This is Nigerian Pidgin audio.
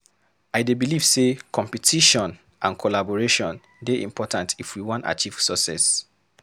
I dey believe say competition and collaboration dey important if we wan achieve success.